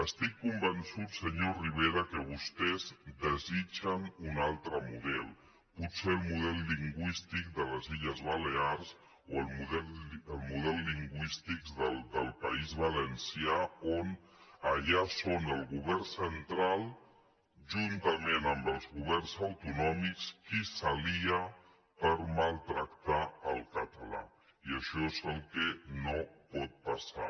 estic convençut senyor rivera que vostès desitgen un altre model potser el model lingüístic de les illes balears o el model lingüístic del país valencià on allà són el govern central juntament amb els governs autonòmics qui s’alien per maltractar el català i això és el que no pot passar